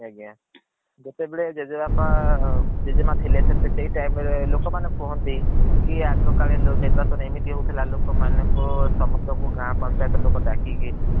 ଆଜ୍ଞା ଯେତେବେଳେ ଜେଜେବାପା ଜେଜେମା ଥିଲେ ସେଇ time ରେ ଲୋକ ମାନେ କୁହନ୍ତି କି ଆଗ କାଳେ ନିର୍ବାଚାନ ଏମିତି ହଉଥିଲା ଲୋକମାନେ ସମସ୍ତଙ୍କୁ ଗାଁ ପନଚୟଟ୍ ର ଲୋକ ଡାକିକି